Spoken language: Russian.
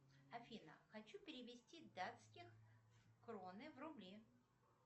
афина хочу перевести датских кроны в рубли